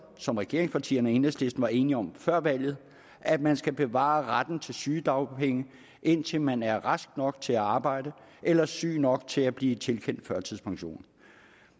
som regeringspartierne og enhedslisten var enige om før valget at man skal bevare retten til sygedagpenge indtil man er rask nok til at arbejde eller syg nok til at blive tilkendt førtidspension